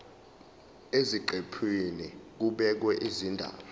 eziqephini kubhekwe izindaba